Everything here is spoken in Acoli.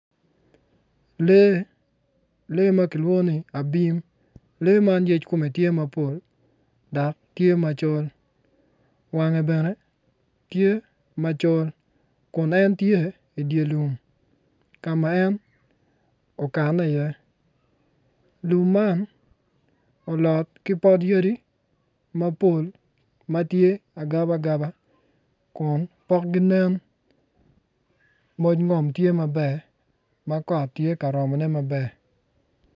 Lee lee ma kilwongo ni abim lee man yec komme tye mapol dok tye macol wange bene tye macol kun en tye idye lum ka ma en okanne iye lum man olot ki pot yadi mapol ma tye agaba agaba kun pokogi nen moc ngom kot tye ka romone maber